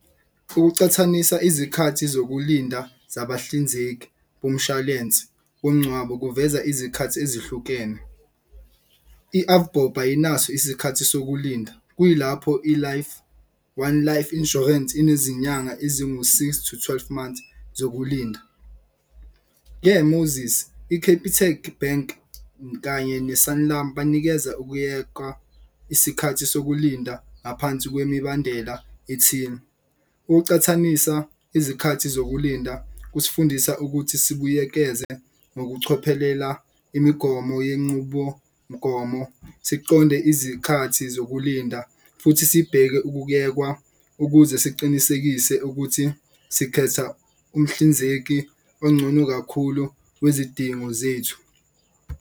Ukucathanisa izikhathi zokulinda zabahlinzeki bomshwalense womngcwabo kuveza izikhathi ezihlukene. I-Avbob ayinaso isikhathi sokulinda kuyilapho i-One Life Insurance inezinyanga ezingu six to twelve months zokulinda. Ke i-Capitec Bank kanye ne-Sanlam banikeza ukuyekwa isikhathi sokulinda ngaphansi kwemibandela ethile. Ukucathanisa izikhathi zokulinda kusifundisa ukuthi sibuyekeze ngokuchophelela imigomo yenqubomgomo, siqonde izikhathi zokulinda. Futhi sibheke ukuyekwa ukuze siqinisekise ukuthi sikhetha umhlinzeki ongcono kakhulu wezidingo zethu.